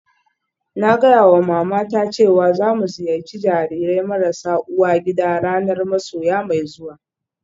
Na gaya wa matata cewa za mu ziyarci jarirai marasa uwa gida ranar masoya mai zuwa